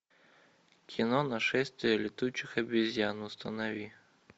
кино нашествие летучих обезьян установи